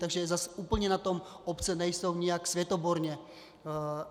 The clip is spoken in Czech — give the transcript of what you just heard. Takže zas úplně na tom obce nejsou nijak světoborně.